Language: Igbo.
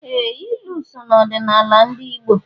Ee! Ilu so n'ọdịnala ndị Igbo.